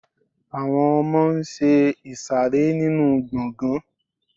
àwọn ọmọ n ṣe ìsàrẹ́ nínu gbọgán